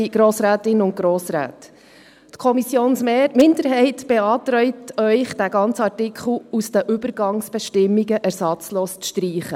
Die Kommissionsminderheit beantragt Ihnen, diesen ganzen Artikel aus den Übergangsbestimmungen ersatzlos zu streichen.